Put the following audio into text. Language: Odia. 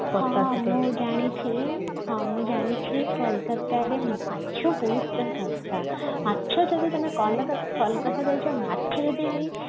ହଁ ହଁ ମୁଁ ଜାଣିଚି ହଁ ମୁଁ ଜାଣିଛି କୋଲକାତାରେ ମାଛ ବହୁତ ସସ୍ଥା ମାଛ ଯଦି ତମେ କଲକତା କଲକତା ଯାଇଛ ମାଛ ଯଦି